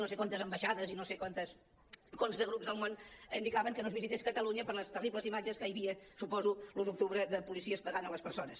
no sé quantes ambaixades i no sé quants grups del món indicaven que no es visités catalunya per les terribles imatges que hi havia suposo de l’un d’octubre de policies pagant les persones